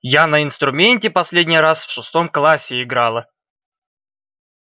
я на инструменте последний раз в шестом классе играла